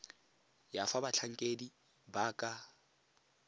ya fa batlhankedi ba ka